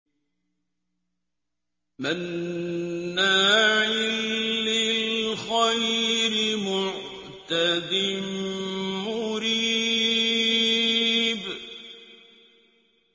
مَّنَّاعٍ لِّلْخَيْرِ مُعْتَدٍ مُّرِيبٍ